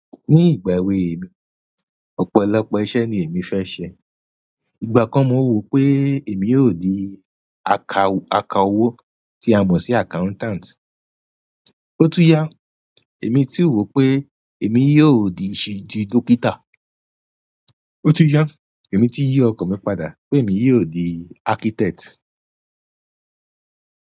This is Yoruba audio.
Ní ìgbà èwe mi, ọ̀pọ̀lọpọ̀ iṣẹ́ ni èmi fẹ́ ṣe. Ìgbà kan mo wò pé èmi yóò di aka-aka owó tí a mọ̀ sí accountant. Ó tún yá, èmi tun wò pé èmi yóò di ti dókítà. Ó tún yá, èmi tun yí ọkàn mi padà pé èmi yóò di architect.